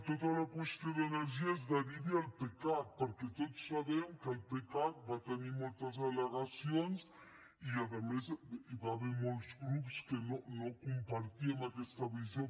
tota la qüestió d’energies derivi al pecac perquè tots sabem que el pecac va tenir moltes al·legacions i a més hi va haver molts grups que no compartíem aquesta visió